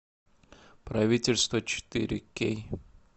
правительство четыре кей